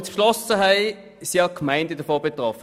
Diese sind auch stark betroffen.